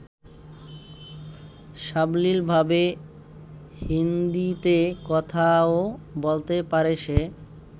সাবলীলভাবে হিন্দীতে কথাও বলতে পারে সে।